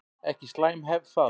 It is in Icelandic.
Ekki slæm hefð það.